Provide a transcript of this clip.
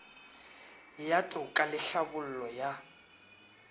ya toka le tlhabollo ya